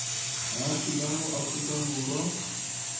baagi ba mo aforika borwa